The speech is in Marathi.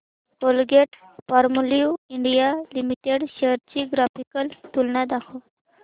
कोलगेटपामोलिव्ह इंडिया लिमिटेड शेअर्स ची ग्राफिकल तुलना दाखव